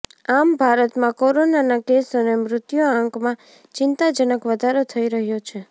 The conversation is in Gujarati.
આમ ભારતમાં કોરોનાના કેસ અને મૃત્યુઆંકમાં ચિંતાજનક વધારો થઈ રહ્યો છે